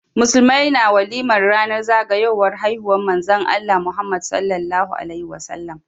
Musulmai na walimar ranar zagayowar haihuwar manzon Allah, Muhammad rasulullah